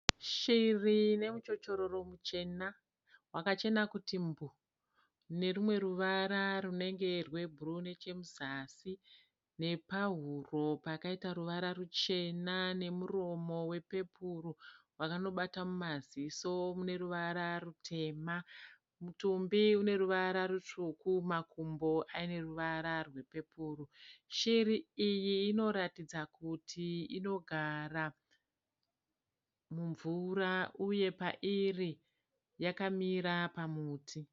Shiri inemuchochororo muchena wakachena kuti mbuu. Inerumwe ruvara runenge rwebhuruu nechemuzasi. Nepahuro pakaita ruvara ruchena. Nemuromo wepepuruu wakanobata mumaziso mune ruvara rutema. Mutumbi une ruvara rutsvuku. Makumbo ane ruvara rwepepuru. Shiri iyi inoratidza kuti inogara mumvura. Uye pairi yakamira pamuti.